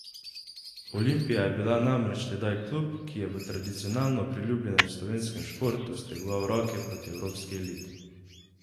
Olimpija je bila namreč tedaj klub, ki je v tradicionalno priljubljenem slovenskem športu stegoval roke proti evropski eliti.